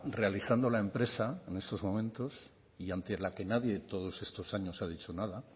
realizando la empresa en estos momentos y ante la que nadie en todos estos años ha dicho nada